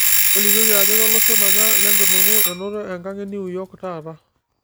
tolikioki ajo keloshon aja lenkinuku enoto enkang kitok enew york taata